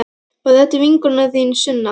Og þetta er vinkona þín, Sunna!